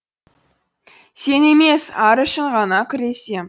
сен емес ар үшін ғана күресем